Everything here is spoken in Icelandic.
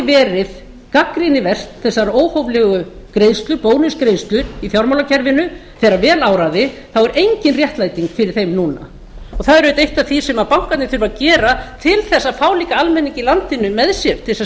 verið gagnrýniverðar þessar óhóflegu greiðslur bónusgreiðslur í fjármálakerfinu þegar vel áraði þá er engin réttlæting fyrir þeim núna og það er auðvitað eitt af því sem bankarnir þurfa að gera til þess að fá líka almenning í landinu með sé til þess að